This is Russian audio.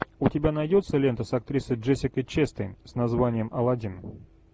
у тебя найдется лента с актрисой джессикой честейн с названием аладдин